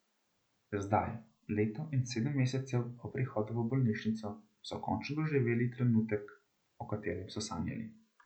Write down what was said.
Zdaj, leto in sedem mesecev po prihodu v bolnišnico, so končno doživeli trenutek, o katerem so sanjali.